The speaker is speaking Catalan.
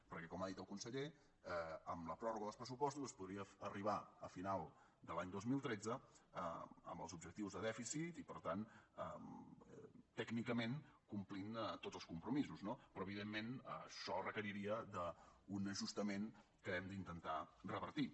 perquè com ha dit el conseller amb la pròrroga dels pressupostos es podria arribar a final de l’any dos mil tretze amb els objectius de dèficit i per tant tècnicament complint tots els compromisos no però evidentment això requeriria un ajustament que hem d’intentar revertir